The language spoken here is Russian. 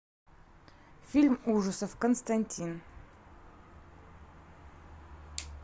фильм ужасов константин